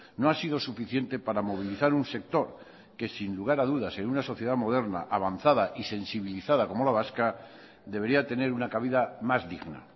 no ha sido suficiente para movilizar un sector que sin lugar a dudas en una sociedad moderna avanzada y sensibilizada como la vasca debería tener una cabida más digna